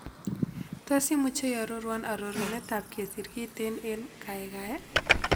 Tos' imuche iaroruon arorunetap kesir kiten eng' kaigai